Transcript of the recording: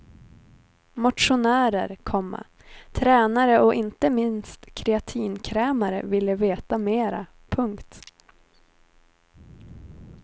Motionärer, komma tränare och inte minst kreatinkrämare ville veta mera. punkt